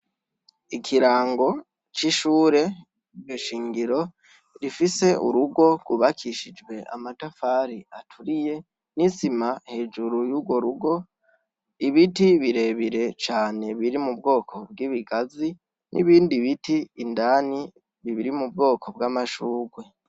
Ikirango c'ishure ge shingiro rifise urugo gubakishijwe amatafari aturiye n'isima hejuru y'uro rugo ibiti birebire cane biri mu bwoko bw'ibigazi n'ibindi biti indani bibiri mu bwoko bw'amashurwe.